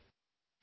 Jai Hind